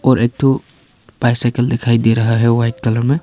और एक ठो बाइसकल दिखाई दे रहा है वाइट कलर में।